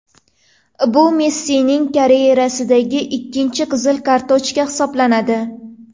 Bu Messining karyerasidagi ikkinchi qizil kartochka hisoblanadi .